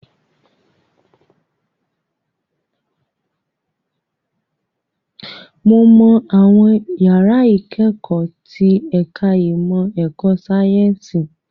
Mo mọ àwọn yàrá ìkẹ́kọ̀ọ́ tí ẹ̀ka ìmọ̀ ẹ̀kọ́ sáyẹ́ǹsì